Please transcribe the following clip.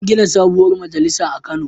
An gina sabuwar majalisa a Kano.